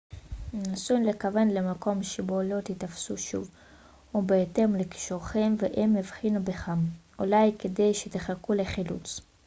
נסו לכוון למקום שבו לא תיתפסו שוב או בהתאם לכישוריכם ואם הבחינו בכם אולי כדאי שתחכו לחילוץ